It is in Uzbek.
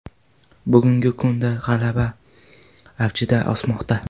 Bugungi kunda g‘alla avjida o‘smoqda.